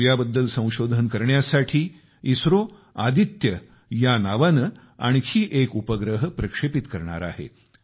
सूर्याबद्दल संशोधन करण्यासाठी इस्रो आदित्य या नावाने आणखी एक उपग्रह प्रक्षेपित करणार आहे